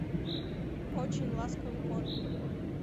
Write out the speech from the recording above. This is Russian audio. очень ласковый кот